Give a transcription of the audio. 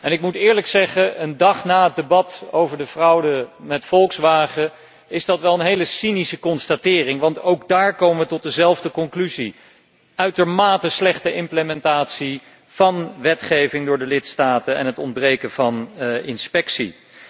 Ik moet eerlijk zeggen dat dit, een dag na het debat over de fraude met Volkswagen, wel een hele cynische constatering is, want ook daar komen we tot dezelfde conclusie uitermate slechte implementatie van wetgeving door de lidstaten en het ontbreken van inspectie.